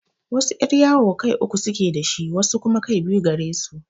Wasu yar'yawo kai uku suke da shi, wasu kuma kai biyu gare su.